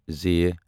ز